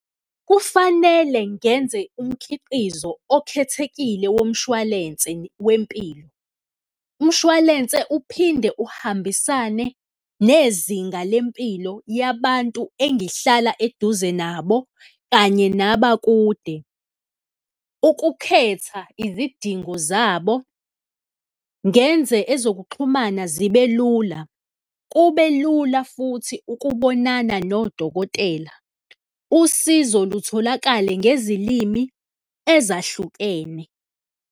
Kufanele ngenze umkhiqizo okhethekile womshwalense wempilo, umshwalense uphinde uhambisane nezinga lempilo yabantu engihlala eduze nabo kanye nabakude, ukukhetha izidingo zabo, ngenze ezokuxhumana zibe lula, kube lula futhi ukubonana nodokotela, usizo lutholakale ngezilimi ezahlukene.